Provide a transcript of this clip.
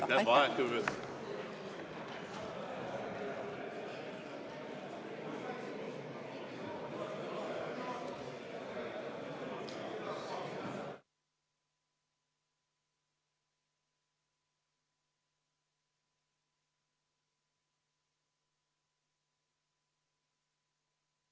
Aitäh!